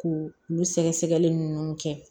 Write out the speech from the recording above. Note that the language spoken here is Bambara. K'u olu sɛgɛsɛgɛli ninnu kɛ